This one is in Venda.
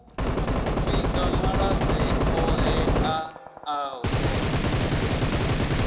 vhiga malwadze oṱhe a ṱahaho